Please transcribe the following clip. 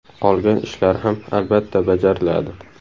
Qolgan ishlar ham, albatta, bajariladi.